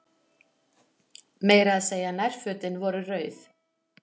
Meira að segja nærfötin voru rauð.